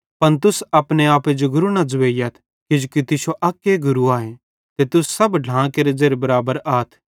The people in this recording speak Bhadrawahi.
पन तुस अपने आपे जो गुरू न ज़ुवेइयथ किजोकि तुश्शो अक्के गुरू आए ते तुस सब ढ्लां केरे ज़ेरे बराबर आथ